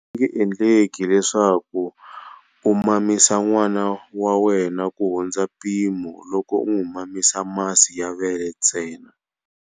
A swi nge endleki leswaku u mamisa n'wana wa wena kuhundza mpimo loko u n'wi mamisa masi ya vele ntsena.